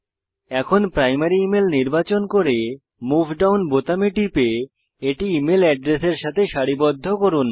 এখন primary email নির্বাচন করে মুভ ডাউন বোতামে টিপে এটি ইমেইল অ্যাড্রেস এর সাথে সারিবদ্ধ করুন